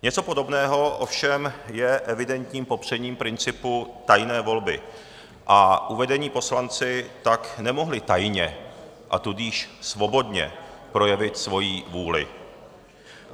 Něco podobného ovšem je evidentním popřením principu tajné volby a uvedení poslanci tak nemohli tajně, a tudíž svobodně projevit svoji vůli.